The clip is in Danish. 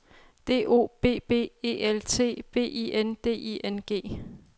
D O B B E L T B I N D I N G